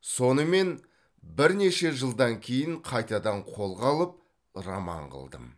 сонымен бірнеше жылдан кейін қайтадан қолға алып роман қылдым